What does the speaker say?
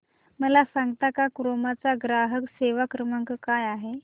मला सांगता का क्रोमा चा ग्राहक सेवा क्रमांक काय आहे